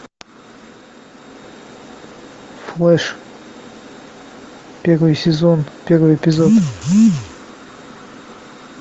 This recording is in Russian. флэш первый сезон первый эпизод